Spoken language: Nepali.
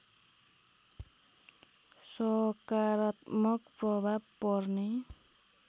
सकारात्मक प्रभाव पर्ने